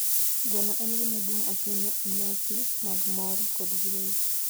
Gweno en gima duong' ahinya e nyasi mag mor kod yueyo.